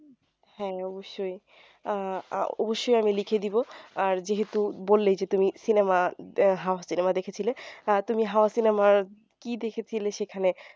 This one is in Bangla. হ্যাঁ অবশ্যই আহ অবশ্যই আমি লিখে দিবো আর যেহেতু বললেই যে তুমি cinema cinema দেখেছিলে তুমি হাওয়া cinema র কি দেখেছিলে সেখানে